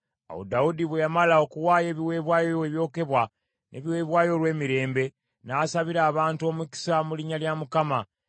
Awo Dawudi bwe yamala okuwaayo ebiweebwayo ebyokebwa n’ebiweebwayo olw’emirembe, n’asabira abantu omukisa mu linnya lya Mukama ,